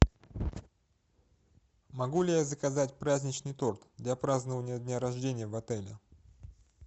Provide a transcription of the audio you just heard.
могу ли я заказать праздничный торт для празднования дня рождения в отеле